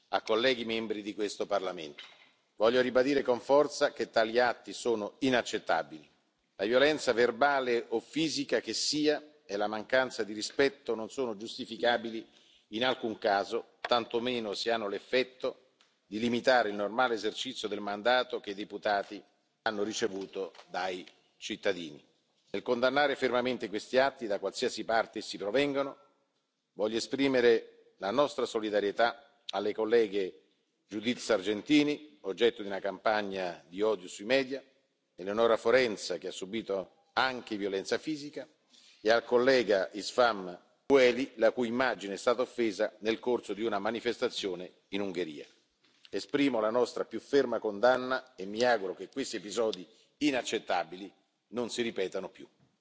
a colleghi membri di questo Parlamento, voglio ribadire con forza che tali atti sono inaccettabili. La violenza, verbale o fisica che sia, e la mancanza di rispetto non sono giustificabili in alcun caso, tantomeno se hanno l'effetto di limitare il normale esercizio del mandato che i deputati hanno ricevuto dai cittadini. Nel condannare fermamente questi atti, da qualsiasi parte essi provengano, voglio esprimere la nostra solidarietà alle colleghe Judith Sargentini, oggetto di una campagna di odio sui media, Eleonora Forenza che ha subìto anche violenza fisica e al collega István Ujhelyi, la cui immagine è stata offesa nel corso di una manifestazione in Ungheria. Esprimo la nostra più ferma condanna e mi auguro che questi episodi inaccettabili non si ripetano più.